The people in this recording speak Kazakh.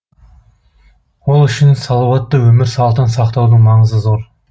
ол үшін салауатты өмір салтын сақтаудың маңызы зор